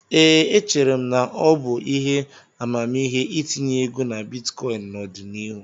Ee, echere m na ọ bụ ihe amamihe itinye ego na bitkọịn n'ọdịnihu.